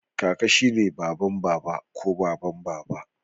Kaka shi ne baban Baba ko baban Baba